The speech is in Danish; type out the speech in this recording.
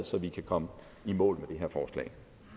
så vi kan komme i mål med